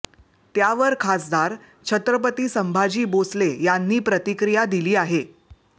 त्यावर खासदार छत्रपती संभाजी भोसले यांनी प्रतिक्रिया दिली आहे